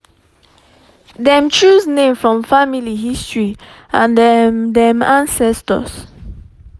dem choose name from family history and um dem ancestors